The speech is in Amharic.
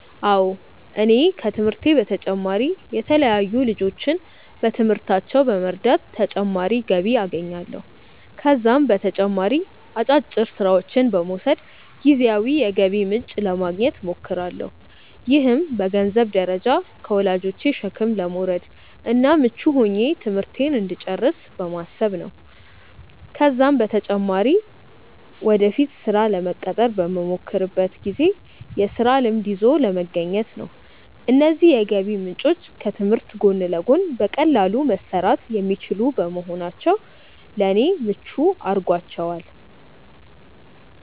አዎ እኔ ከትምህርቴ በተጨማሪ የተለያዩ ልጆችን በትምህርታቸው በመርዳት ተጨማሪ ገቢ አገኛለሁ። ከዛም በተጨማሪ አጫጭር ስራዎችን በመውሰድ ጊዜያዊ የገቢ ምንጭ ለማግኘት እሞክራለሁ። ይህም በገንዘንብ ደረጃ ከወላጆቼ ሸክም ለመውረድ እና ምቹ ሆኜ ትምህርቴን እንድጨርስ በማሰብ ነው ነው። ከዛም በተጨማሪ ወደፊት ስራ ለመቀጠር በመሞክርበት ጊዜ የስራ ልምድ ይዞ ለመገኘት ነው። እነዚህ የገቢ ምንጮች ከትምህርት ጎን ለጎን በቀላሉ መሰራት የሚችሉ በመሆናቸው ለኔ ምቹ አድርጓቸዋል።